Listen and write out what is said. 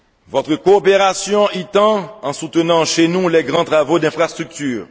Votre coopération y tend en soutenant chez nous les grands travaux d'infrastructures.